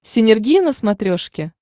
синергия на смотрешке